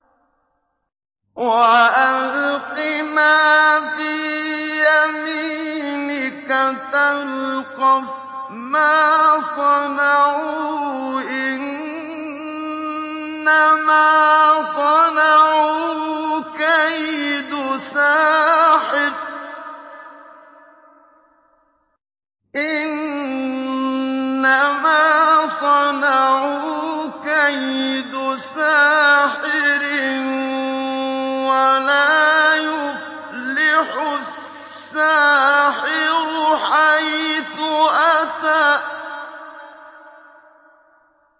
وَأَلْقِ مَا فِي يَمِينِكَ تَلْقَفْ مَا صَنَعُوا ۖ إِنَّمَا صَنَعُوا كَيْدُ سَاحِرٍ ۖ وَلَا يُفْلِحُ السَّاحِرُ حَيْثُ أَتَىٰ